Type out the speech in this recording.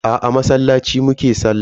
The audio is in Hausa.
Aa, a masallaci mu ke sallah.